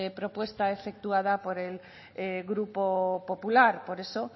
propuesta efectuada por el grupo popular por eso